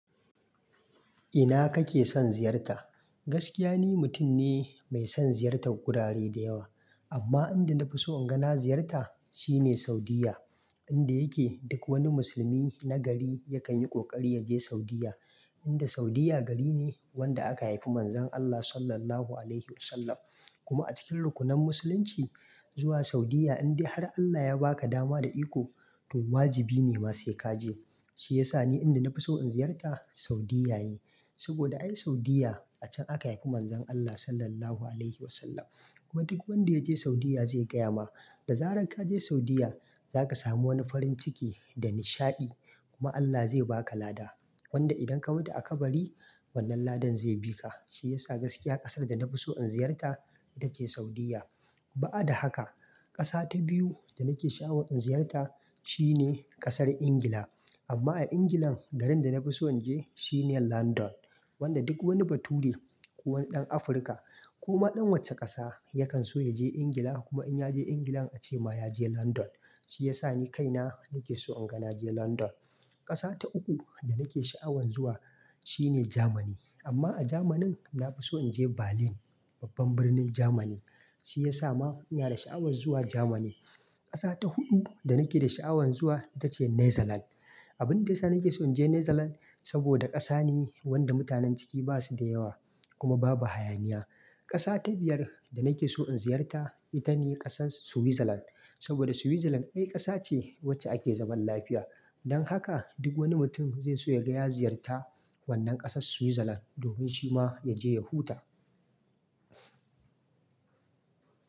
Ina kake son ziyarta? Gaskiya ni mutum ne mai son ziyartar gurare da yawa, amma inda na fi so in gani ziyarta shine Saudiyya. Inda yake duk wani musulmi na gari yakan yi ƙoƙari ya je Saudiyya. Inda Saudiyya gari ne wanda aka haifi Manzon Allah Sallallahu Alaihi Wasallam. Kuma a cikin rukunan musulunci zuwa Saudiyya indai har Allah ya ba ka dama da iko to wajibi ne ma sai ka je. Shi ya sa ni inda na fi so in ziyarta Saudiyya ne. Saboda ai Saudiyya a can aka haifi Manzon Allah Sallallahu Alaihi Wasallam. Kuma duk wanda ya je Saudiyya zai gaya ma, da zarar ka je Saudiyya za ka samu wani farin ciki da nishaɗi. Kuma Allah zai ba ka lada. Wanda idan ka buɗe a kabari wannan ladan zai bi ka. Shi ya sa gaskiya ƙasar da na fi so in ziyarta ita ce Saudiyya. Ba'ada haka ƙasa ta biyu da nake sha'awar in ziyarta shi ne ƙasar Ingila. Amma a Ingilan garin da na fi so in je shi ne Landan. Wanda duk wani bature ko wanɗan Afirka ko ma ɗan wacce ƙasa yakan so ya je Ingila kuma in ya je Ingila ace ma ya je Landan. Shi ya sa ni kaina nake so in ga naje Landan. Ƙasa ta uku da nake sha'awan zuwa shi ne Jamani. Amma a Jamani na fi so in je Berlin, babban birnin Jamani. Shi ya sa ma ina da sha'awan zuwa Jamani. Ƙasa ta huɗu da nake da sha'awan zuwa ita ce Netherlands. Abin da ya sa nake so in je New Zealand saboda ƙasa ne wanda mutanen ciki ba su da yawa kuma babu hayaniya. Ƙasa ta biyar da nake so in ziyarta ita ne ƙasar Switzerland. Saboda Switzerland ƙasa ce wacce ake zaman lafiya. Dan haka duk wani mutum zai so ya gaya ziyarta wannan ƙasar Switzerland domin shi ma ya je ya huta.